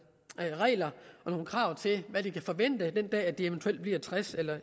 regler og krav til hvad de kan forvente den dag de eventuelt bliver tres